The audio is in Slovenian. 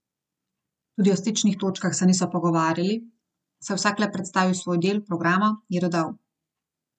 Tudi o stičnih točkah se niso pogovarjali, saj je vsak le predstavil svoj del programa, je dodal.